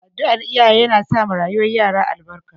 Addu'ar iyaye yana sa ma rayuwar yara albarka